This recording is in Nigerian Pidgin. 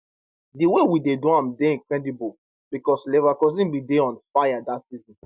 di way we do am dey incredible becos leverkusen bin dey on fire dat season